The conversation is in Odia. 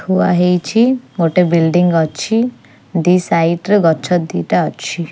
ଥୁଆ ହେଇଛି ଗୋଟେ ବିଲଡିଂ ଅଛି ଦି ସାଇଟ ରେ ଗଛ ଦିଟା ଅଛି।